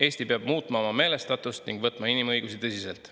Eesti peab muutma oma meelestatust ning võtma inimõigusi tõsiselt.